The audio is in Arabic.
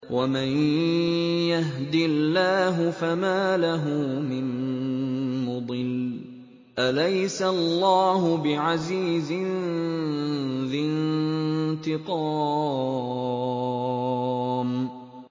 وَمَن يَهْدِ اللَّهُ فَمَا لَهُ مِن مُّضِلٍّ ۗ أَلَيْسَ اللَّهُ بِعَزِيزٍ ذِي انتِقَامٍ